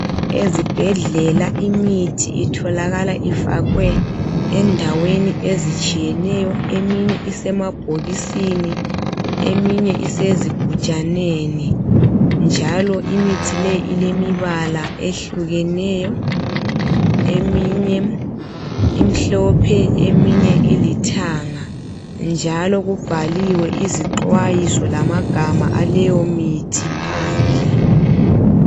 Ezibhedlela imithi itholakala ifakwe endaweni ezitshiyeneyo eminye isemabhokisini eminye isezigujaneni njalo imithi leyi ilembala ehlukeneyo eminye imhlophe, eminye ilithanga njalo kubhaliwe izixwayiso lamagama aleyo mithi phandle